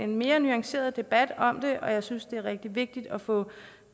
mere nuanceret debat om det og jeg synes det er rigtig vigtigt at få